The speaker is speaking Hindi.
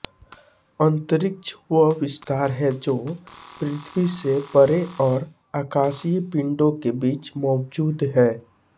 अंतरिक्ष वह विस्तार है जो पृथ्वी से परे और आकाशीय पिंडों के बीच मौजूद है